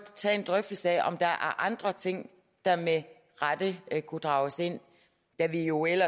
tage en drøftelse af om der er andre ting der med rette kunne drages ind da vi jo i